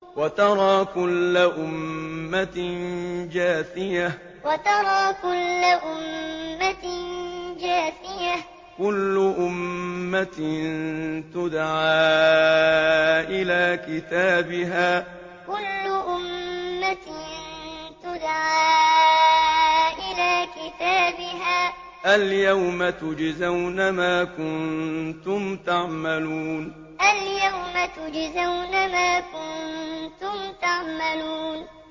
وَتَرَىٰ كُلَّ أُمَّةٍ جَاثِيَةً ۚ كُلُّ أُمَّةٍ تُدْعَىٰ إِلَىٰ كِتَابِهَا الْيَوْمَ تُجْزَوْنَ مَا كُنتُمْ تَعْمَلُونَ وَتَرَىٰ كُلَّ أُمَّةٍ جَاثِيَةً ۚ كُلُّ أُمَّةٍ تُدْعَىٰ إِلَىٰ كِتَابِهَا الْيَوْمَ تُجْزَوْنَ مَا كُنتُمْ تَعْمَلُونَ